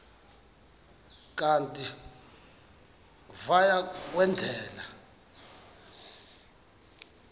kanti uia kwendela